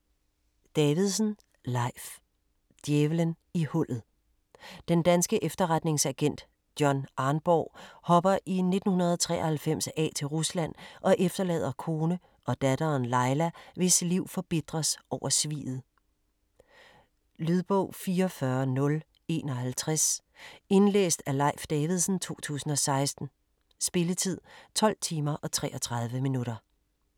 Davidsen, Leif: Djævelen i hullet Den danske efterretningsagent John Arnborg hopper i 1993 af til Rusland og efterlader kone og datteren, Laila, hvis liv forbitres over sviget. Lydbog 44051 Indlæst af Leif Davidsen, 2016. Spilletid: 12 timer, 33 minutter.